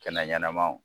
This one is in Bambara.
Kɛnɛ ɲanamaw